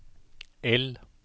L